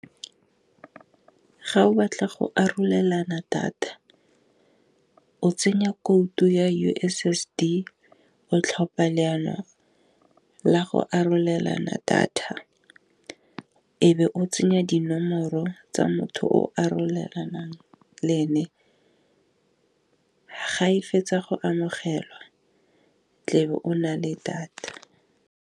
Ga o batla go arolelana data o tsenya code ya U_S_S_D tlhopha leano la go arolelana data e be o tsenya dinomoro tsa motho o arolelang le ene, ga e fetsa go amogelwa tlebe o nale data.